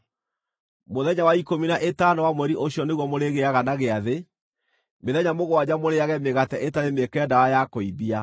Mũthenya wa ikũmi na ĩtano wa mweri ũcio nĩguo mũrĩgĩaga na gĩathĩ; mĩthenya mũgwanja mũrĩĩage mĩgate ĩtarĩ mĩĩkĩre ndawa ya kũimbia.